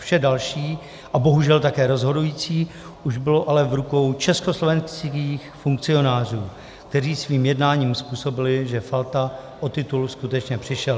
Vše další a bohužel také rozhodující už bylo ale v rukou československých funkcionářů, kteří svým jednáním způsobili, že Falta o titul skutečně přišel.